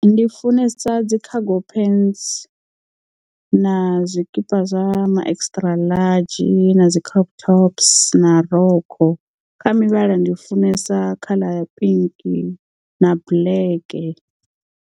Ndi funesa dzi cargo pants na zwikipa zwa ma extra large na dzi crop tops na rokho kha mivhala ndi funesa mivhala ya pink na black.